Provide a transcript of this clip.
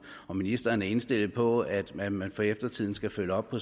ministeren er indstillet på at at man for eftertiden skal følge op på